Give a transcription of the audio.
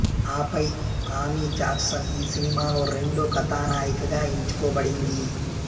ఆపై Amy Jackson ఈ సినిమాలో రెండో కథానాయికగా ఎంచుకోబడింది